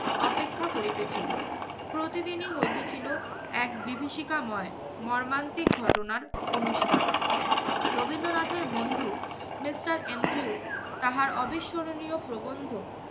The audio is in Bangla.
অপেক্ষা করিতেছিল। প্রতিদিনই হইতে ছিল এক বিভিষিকাময় মর্মান্তিক ঘটনার অনুষ্ঠান। রবীন্দ্রনাথের বন্ধু mister এন্ড্রিউলফ তাহার অবিস্মরণীয় প্রবন্ধ